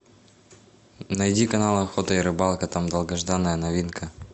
найди канал охота и рыбалка там долгожданная новинка